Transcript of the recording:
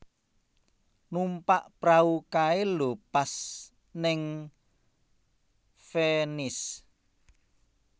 Numpak prau kae lho pas ning Venice